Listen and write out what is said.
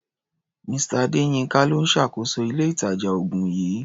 Mr. Adéyínká ló ń ṣàkóso ilé-ìtàjà-oògùn yìí.